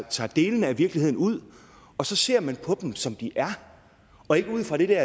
tager delene af virkeligheden ud og ser på dem som de er og ikke ud fra den der